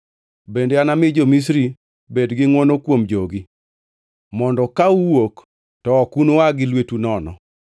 “Bende anami jo-Misri bed gi ngʼwono kuom jogi, mondo ka uwuok to ok unua gi lwetu nono.